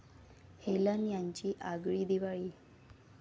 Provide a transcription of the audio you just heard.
Helen यांची आगळी दिवाळी